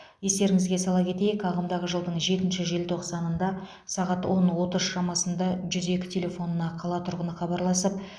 естеріңізге сала кетейік ағымдағы жылдың жетінші желтоқсанында сағат он отыз шамасында жүз екі телефонына қала тұрғыны хабарласып